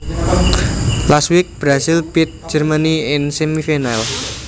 Last week Brazil beat Germany in the semi final